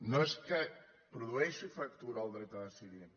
no és que produeixi fractura el dret a decidir